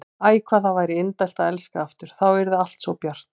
Æ, hvað það væri indælt að elska aftur, þá yrði allt svo bjart.